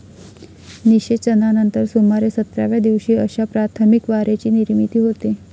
निशेचनानंतर सुमारे सतराव्या दिवशी अशा प्राथमिक वारेची निर्मिती होते.